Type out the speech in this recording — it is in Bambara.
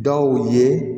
Dɔw ye